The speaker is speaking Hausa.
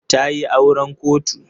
Ta yi auren kotu.